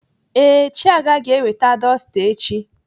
Ee, Chiaga ga-eweta dọsta echi.